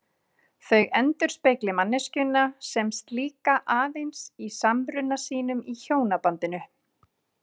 Þau endurspegli manneskjuna sem slíka aðeins í samruna sínum í hjónabandinu.